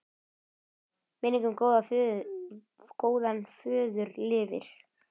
Minning um góðan föður lifir.